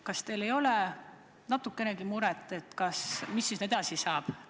Kas teil ei ole natukenegi muret, et mis siis edasi saab?